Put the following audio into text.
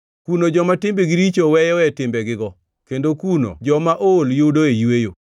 Kuno joma timbegi richo weyoe timbegigo, kendo kuno joma ool yudoe yweyo.